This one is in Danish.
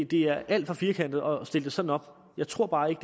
det er alt for firkantede at stille det sådan op jeg tror bare ikke